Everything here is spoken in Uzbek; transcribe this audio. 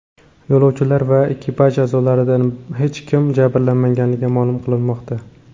Yo‘lovchilar va ekipaj a’zolaridan hech kim jabrlanmaganligi ma’lum qilinmoqda.